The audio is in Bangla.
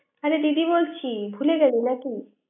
আরে দিদি বলছি ভুলে গেলি নাকি